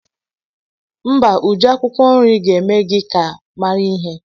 Mba Uju, akwukwo nri ga eme gi ka mara ihe.